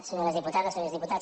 senyores diputades senyors diputats